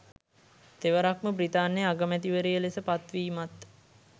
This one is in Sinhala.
තෙවරක්ම බ්‍රිතාන්‍යයේ අගමැතිවරිය ලෙස පත්වීමත්